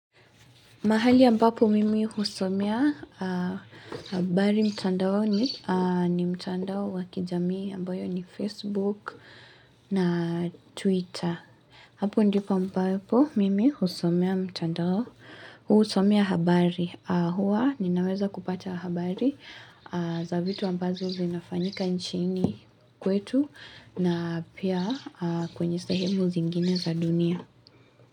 Mahali ambapo mimi husomea habari mtandaoni ni mtandao wa kijamii ambayo ni Facebook na Twitter. Hapo ndipo ambapo mimi husomea mtandao husomea habari. Huwa ninaweza kupata habari za vitu ambazo zinafanyika nchini kwetu na pia kwenye sehemu zingine za dunia.